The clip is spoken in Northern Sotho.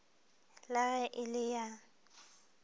la ge e le ya